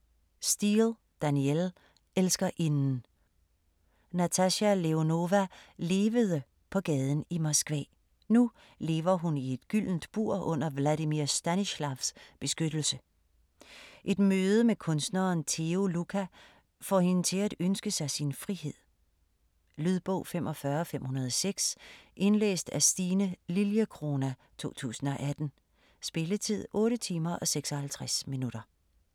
Steel, Danielle: Elskerinden Natasha Leonova levede på gaden i Moskva. Nu lever hun i et gyldent bur under Vladimir Stanislavs beskyttelse. Et møde med kunstneren Theo Luca får hende til at ønske sig sin frihed. Lydbog 45506 Indlæst af Stine Lilliecrona, 2018. Spilletid: 8 timer, 56 minutter.